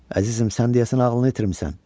Əzizim, sən deyəsən ağlını itirmisən.